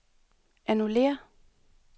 annullér